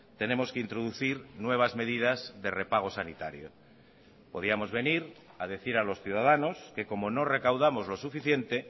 tenemos que introducir nuevas medidas de repago sanitario podíamos venir a decir a los ciudadanos que como no recaudamos lo suficiente